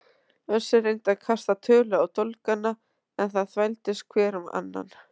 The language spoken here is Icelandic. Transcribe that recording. Össur reyndi að kasta tölu á dólgana en það þvældist hver um annan.